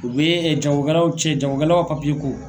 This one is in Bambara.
U bɛ jagokɛlaw cɛ jagokɛlaw ka ko.